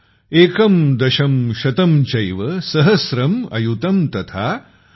एकं दशं शतं चैव सहस्रम् अयुतं तथा ।